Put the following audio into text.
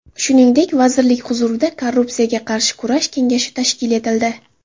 Shuningdek, vazirlik huzurida korrupsiyaga qarshi kurash kengashi tashkil etildi.